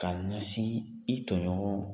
K'a ɲasi i tɔɲɔgɔnw ma.